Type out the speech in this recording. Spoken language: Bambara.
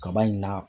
Kaba in na